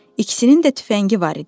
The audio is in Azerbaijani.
İkisinin də tüfəngi var idi.